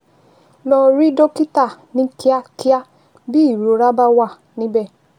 Lọ rí dókítà ní kíákíá bí ìrora bá wà níbẹ̀